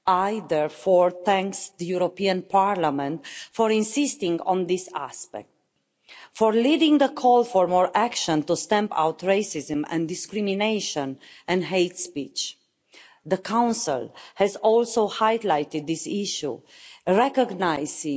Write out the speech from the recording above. I therefore thank the European Parliament for insisting on this aspect, for leading the call for more action to stamp out racism and discrimination and hate speech. The Council has also highlighted this issue, recognising